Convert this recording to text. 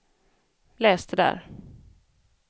läs det där